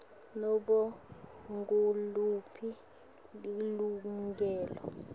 nobe nguliphi lilungelo